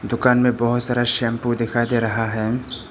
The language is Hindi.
दुकान में बहुत सारा शैंपू दिखाई दे रहा है।